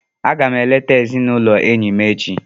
Aga m eleta ezigbo enyi m echi.